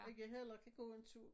Ikke heller kan gå en tur